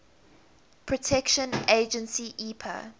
protection agency epa